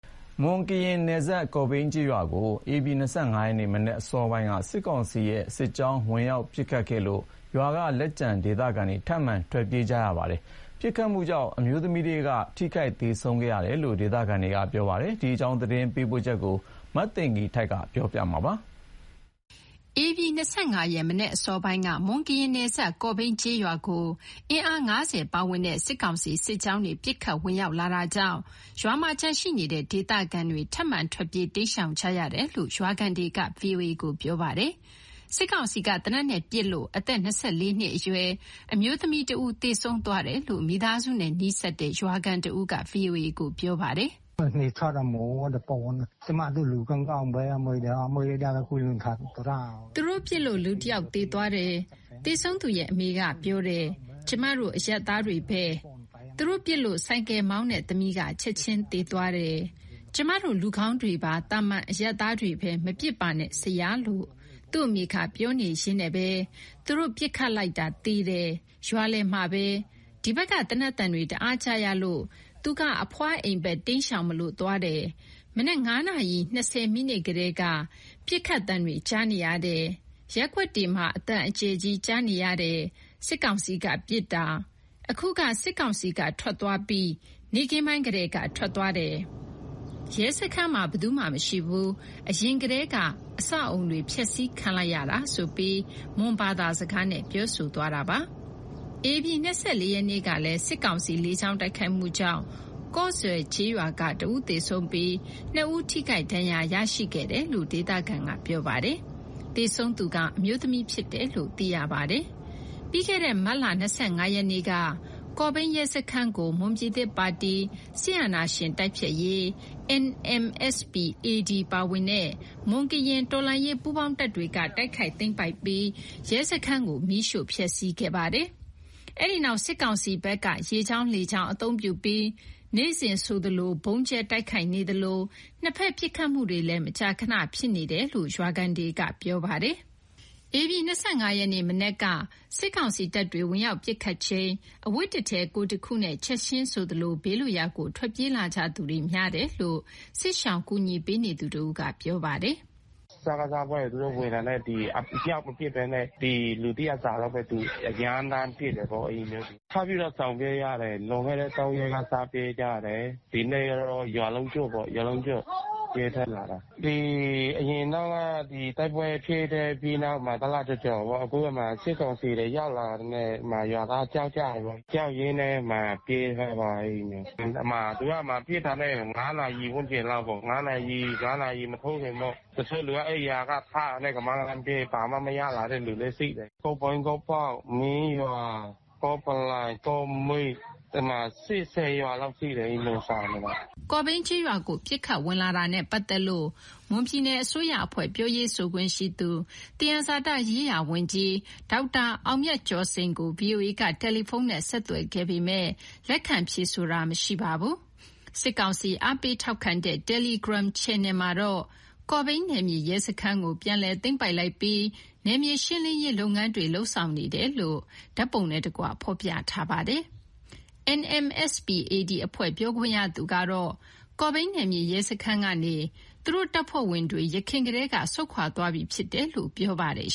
မွန်ကရင်နယ်စပ် ကော့ဘိန်းကျေးရွာကို ဧပြီ ၂၅ ရက်နေ့ မနက်အစောပိုင်းက စစ်ကောင်စီ စစ်ကြောင်း ဝင်ရောက်ပစ်ခတ်လို့ ရွာမှာလက်ကျန်ရှိနေတဲ့ ဒေသခံတွေ ထပ်မံထွက်ပြေးကြရပါတယ်။ ပစ်ခတ်မှုကြောင့် ထွက်ပြေးတဲ့ကျေးရွာသားတွေထဲက အမျိုးသမီးတဦး ထိခိုက်သေဆုံးခဲ့တယ်လို့ ဒေသခံတွေကပြောပါတယ်။ ဒီအကြောင်း သတင်းပေးပို့ချက်ကို မသိင်္ဂီထိုက်က တင်ပြပေးထားပါတယ်။ ဧပြီ ၂၅ ရက် မနက်အစောပိုင်းက မွန်-ကရင်နယ်စပ် ကော့ဘိန်းကျေးရွာကို အင်အား ၅၀ ပါဝင်တဲ့ စစ်ကောင်စီ စစ်ကြောင်းတွေ ပစ်ခတ်ဝင်ရောက်လာတာကြောင့် ရွာမှာကျန်ရှိနေတဲ့ ဒေသခံတွေ ထပ်မံ ထွက်ပြေးတိမ်းရှောင်ကြရတယ်လို့ ရွာခံတွေက ဗွီအိုအေကို ပြောပါတယ်။ စစ်ကောင်စီက သေနတ်နဲ့ပစ်ခတ်လို့ ၂၄ နှစ်အရွယ် အမျိုးသမီးတဦး သေဆုံးသွားတယ်လို့ မိသားစုနဲ့နီးစပ်တဲ့ ရွာခံတဦးက ဗွီအိုအေ ပြောပါတယ်။ “သူတို့ပစ်လို့ လူတယောက်သေသွားတယ်။ သေဆုံးသူရဲ့အမေက ပြောတယ်။ ကျမတို့ အရပ်သားတွေပဲ၊ ။ သူတို့ပစ်လို့ ဆိုင်ကယ်မောင်းတဲ့သမီးက ချက်ချင်းသေသွားတယ်။ ကျမတို့ လူကောင်းကောင်းတွေပါ၊ သာမန်အရပ်သားတွေပဲ မပစ်ပါနဲ့ဆရာ လို့ သူ့အမေက ပြောနေရင်းနဲ့ပဲ သူတို့ပစ်ခတ်လိုက်တာ သေတယ်။ ရွာလယ်မှာပဲ။ ဒီဘက်က သေနတ်သံတွေ တအားကြားရလို့၊ သူက အဖွားအိမ်ဘက်တိမ်းရှောင်မလို့ သွားတယ်။ မနက် ၅ နာရီ ၂၀ မိနစ်ကတည်းက ဒုန်း ဒုန်း ဒုန်း ပစ်ခတ်သံတွေ ကြားနေရတယ်။ ရပ်ကွက်တွေမှာ အသံအကျယ်ကြီးကြားနေရတယ်။ စစ်ကောင်စီက ပစ်တာ။ အခုက စစ်ကောင်စီက ထွက်သွားပြီး နေ့ခင်းပိုင်းကတည်းက ထွက်သွားတယ်။ ရဲစခန်းမှာ ဘယ်သူမှမရှိဘူး။ အရင်ကတည်းက အဆောက်အဦးတွေ ဖျက်ဆီးခံလိုက်ရတာ။” ဆိုပြီး မွန်ဘာသာစကားနဲ့ ပြောဆိုသွားတာပါ။ ဧပြီ ၂၄ ရက်နေ့ကလည်း စစ်ကောင်စီ လေကြောင်းတိုက်ခိုက်မှုကြောင့် ကော့စွယ်ကျေးရွာက တဦးသေဆုံးပြီး နှစ်ဦးထိခိုက်ဒဏ်ရာရရှိခဲ့တယ်လို့ ဒေသခံက ပြောပါတယ်။ သေဆုံးသူက အမျိုးသမီးဖြစ်တယ်လို့သိရပါတယ်။ ပြီးခဲ့တဲ့ မတ် ၂၅ ရက်နေ့က ကော့ဘိန်းရဲစခန်းကို မွန်ပြည်သစ်ပါတီ NMSP-AD ပါဝင်တဲ့ မွန်ကရင်တော်လှန်ရေး ပူးပေါင်းတပ်တွေက တိုက်ခိုက်သိမ်းပိုက်ပြီး ရဲစခန်းကို မီးရှို့ဖျက်ဆီးခဲ့ပါတယ်။ အဲ့ဒီနောက် စစ်ကောင်စီဘက်က ရေကြောင်း၊ လေကြောင်း အသုံးပြုပြီး နေ့စဉ်ဆိုသလို ဗုံးကြဲတိုက်ခိုက်နေသလို နှစ်ဘက်ပစ်ခတ်မှုတွေလည်း မကြာခဏဖြစ်နေတယ်လို့ ရွာခံတွေက ပြောပါတယ်။ ဧပြီ ၂၅ ရက်နေ့မနက်က စစ်ကောင်စီတပ်တွေ ဝင်ရောက်ပစ်ခတ်ချိန်၊ အဝတ်တထည်ကိုယ်တခုနဲ့ ချက်ချင်းဆိုသလို ဘေးလွတ်ရာကို ထွက်ပြေးလာကြသူတွေ များတယ်လို့ စစ်ရှောင်ကူညီပေးနေသူတဦးက ပြောပါတယ်။ “စကစအဖွဲ့တွေ သူတို့ဝင်တာနဲ့ မြှောက်မပစ်ဘဲနဲ့ ဒီလူတရပ်စာလောက်ပဲ ရမ်းသမ်းပစ်တယ်ပေါ့- အဲ့လိုမျိုး။ ထပ်ပြီးတော့ ရှောင်ပြေးရတယ်။ လွန်ခဲ့တဲ့ ၃ ရက်က စပြီးပြေးကြတယ်။ ဒီနေ့ကတော့ ရွာလုံးကျွတ်ပေါ့။ ထွက်ပြေးလာတယ်။ အရင်တုန်းက တိုက်ပွဲဖြစ်ပြီးတဲ့နောက်မှာ ခု တလကျော်ကျော်ပေါ့။ အခု အဲ့မှာ စစ်ကောင်စီတွေရောက်လာတာနဲ့ ရွာသားတွေကြောက်ကြတယ်ပေါ့။ ကြောက်ရင်းနဲ့ ထွက်ပြေးလာတာ အဲ့လိုမျိုး။ သူက အဲ့ဒီမှာ ပစ်တာနဲ့ ၅ နာရီ ဝန်းကျင်းလောက်ပဲ။ ၅ နာရီမထိုးခင်ပေါ့။ တချို့လူက အိပ်ရာထတာနဲ့ ကမန်းကတန်း ပြေး၊ ဘာမှမရလာတာလည်း ရှိတယ်။ ကော့ဘိန်း၊ ကော့ပေါက်၊ မင်းရွာ၊ ကော့ပလိုင်၊ ကော့မိတ်၊ စစ်ပြေး ၁၀ ရွာလောက်ရှိတယ် အဲ့လိုမျိုးရှောင်နေတာ။” ကော့ဘိန်းရွာကို ပစ်ခတ်ဝင်လာတာနဲ့ပတ်သက်လို့ မွန်ပြည်နယ်အစိုးရအဖွဲ့ ပြောရေးဆိုခွင့်ရှိသူ သယံဇာတရေးရာဝန်ကြီး ဒေါက်တာအောင်မြတ်ကျော်စိန်ကို ဗွီအိုအေက တယ်လီဖုန်းနဲ့ ဆက်သွယ်ခဲ့ပေမယ့် လက်ခံဖြေဆိုတာမရှိပါဘူး။ စစ်ကောင်စီ အားပေးထောက်ခံတဲ့ တယ်လီဂရမ်ချန်နယ်မှာတော့ ကော့ဘိန်းနယ်မြေရဲစခန်းကို ပြန်လည်သိမ်းပိုက်လိုက်ပြီး နယ်မြေရှင်းလင်းနေတယ်လို့ ဓာတ်ပုံနှင့်တကွ ဖော်ပြထားပါတယ်။ NMSP-AD အဖွဲ့ ပြောခွင့်ရသူကတော့ ကော့ဘိန်းနယ်မြေရဲစခန်းကနေ သူတို့တပ်ဖွဲ့ဝင်တွေ ယခင်ကတည်းက ဆုတ်ခွာပြီးသားဖြစ်တယ်လို့ ပြောပါတယ်